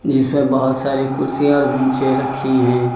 जिसमें बहुत सारी कुर्सियाँ और बैंचें रखी हैं।